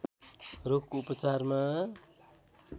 रोगको उपचारमा